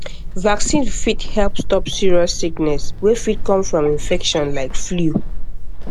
vaccine fit help stop serious sickness wey fit come from infection like flu